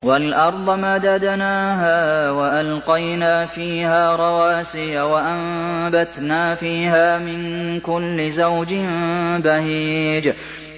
وَالْأَرْضَ مَدَدْنَاهَا وَأَلْقَيْنَا فِيهَا رَوَاسِيَ وَأَنبَتْنَا فِيهَا مِن كُلِّ زَوْجٍ بَهِيجٍ